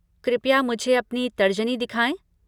कृपया मुझे अपनी तर्जनी दिखाएं।